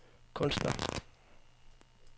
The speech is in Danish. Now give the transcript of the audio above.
kunstner